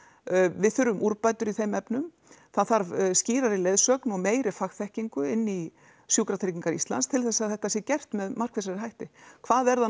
við þurfum úrbætur í þeim efnum það þarf skýrari leiðsögn og meiri fagþekkingu inní sjúkratryggingar Íslands til þess að þetta sé gert með markvissari hætti hvað er það